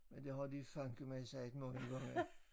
Men det har de fandeme sagt mange gange